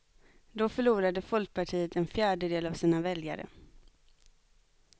Då förlorade folkpartiet en fjärdedel av sina väljare.